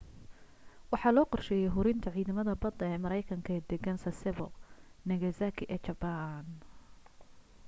waxa loo qorsheeyay hurinta ciidamada badda ee maraykanka ee deggan sasebo nagasaki ee jabbaan